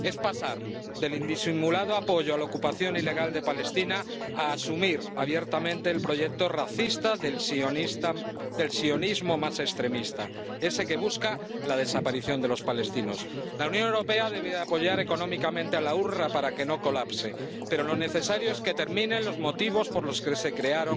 Es pasar del indisimulado apoyo a la ocupación ilegal de Palestina a asumir abiertamente el proyecto racista del sionismo más extremista, ese que busca la desaparición de los palestinos. La Unión Europea debe apoyar económicamente al OOPS para que no colapse, pero lo necesario es que terminen los motivos por los que se creó